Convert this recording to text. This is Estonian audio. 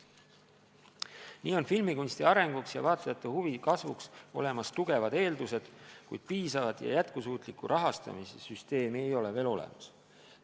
Nii on filmikunsti arenguks ja vaatajate huvi kasvuks olemas tugevad eeldused, kuid piisavat ja jätkusuutlikku rahastamise süsteemi ei ole veel olemas.